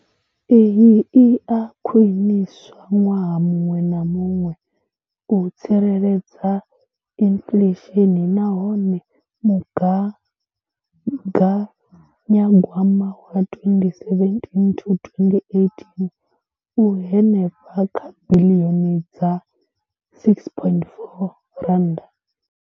Iyi i a khwiniswa ṅwaha muṅwe na muṅwe u tsireledza inflesheni nahone mugaganyagwama wa 2017 to 2018 u henefha kha biḽioni dza R6.4.